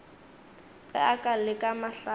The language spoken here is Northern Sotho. ge a ka leka mahlale